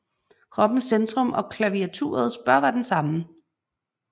Kroppens centrum og klaviaturets bør være den samme